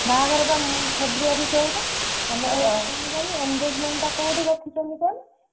ବାହାଘର ବ February engagement ଟା କୌଠି ରଖିଛନ୍ତି କହନି?